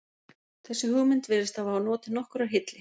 þessi hugmynd virðist hafa notið nokkurrar hylli